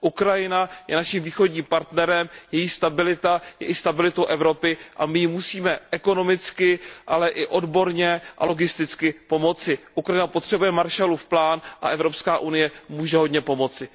Ukrajina je naším východním partnerem, její stabilita je i stabilitou Evropy, a my jí musíme ekonomicky, ale i odborně a logisticky pomoci. Ukrajina potřebuje Marshallův plán a Evropská unie může hodně pomoci.